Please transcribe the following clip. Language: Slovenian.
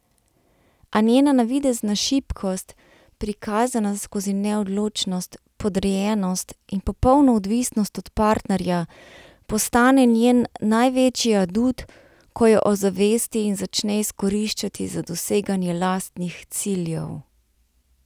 A njena navidezna šibkost, prikazana skozi neodločnost, podrejenost in popolno odvisnost od partnerja, postane njen največji adut, ko jo ozavesti in začne izkoriščati za doseganje lastnih ciljev.